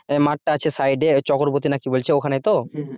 মাঠ টা আছে সাইডে ওই চক্রবর্তী কি বলছে ওখানে তো?